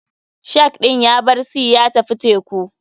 Shark ɗin yabar sea ya tafi teku.